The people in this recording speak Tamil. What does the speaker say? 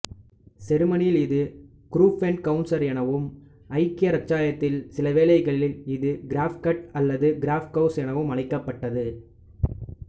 செருமனியில் இது குரூபென்ஃகவுசெர் எனவும் ஐக்கிய இராச்சியத்தில் சில வேளைகளில் இது கிரப்ஃகட் அல்லது கிரப்ஃகவுஸ் என அழைக்கப்பட்டது